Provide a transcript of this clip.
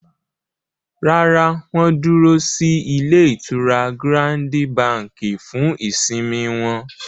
Rárá, wọ́n dúró sí ilé-ìtura Gírándi Bàǹkì fún ìsimi wọn.